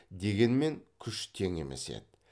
дегенмен күш тең емес еді